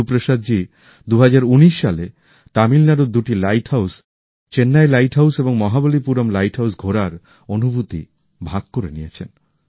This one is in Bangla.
গুরু প্রসাদজি ২০১৯ সালে তামিলনাড়ুর দুটি lighthouse Chennai lighthouse এবং মহবালিপুরম লাইট হাউস ঘোরার অনুভূতি ভাগ করে নিয়েছেন